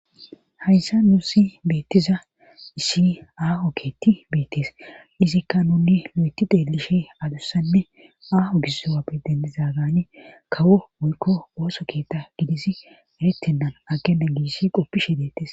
hayssa nuusi beettiza issi aaho keetti beettees izikka nunni lo7eti deelishe adussanne aaho gizoappe dendiza gaani kawo woykko ooso keeta gidisi eretennan akena giissi qoppishe deettes